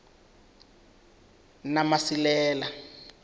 namasilela